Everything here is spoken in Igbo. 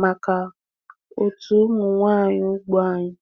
maka òtù ụmụ nwanyị ugbo anyị.